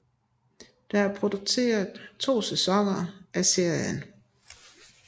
Der er produceret to sæsoner af serien